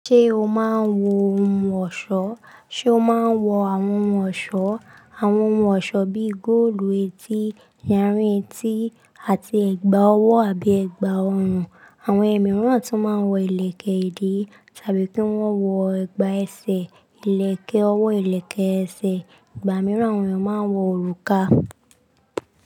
Ṣé o máa ń wo ohun ọ̀ṣọ́? Ṣé o máa ń wo àwọn ohun ọ̀ṣọ́? Àwọn ohun ọ̀ṣọ́ bíi góòlù, etí, ìyarí etí àti ẹ̀gbà ọwọ́ àbí ẹ̀gbà ọhùn. Àwọn ẹ̀mí mìíràn tún máa ń wo ìlẹ̀kẹ̀ ìdí tàbí kí wọ́n wo ẹ̀gbà ẹsẹ̀, ìlẹ̀kẹ̀ ọwọ́, ìlẹ̀kẹ̀ ẹsẹ̀. Ẹ̀gbà mìíràn àwọn èèyàn máa ń wo òrùka.